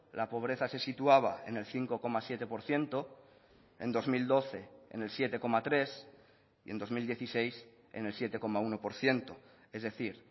la pobreza se situaba en el cinco coma siete por ciento en dos mil doce en el siete coma tres y en dos mil dieciséis en el siete coma uno por ciento es decir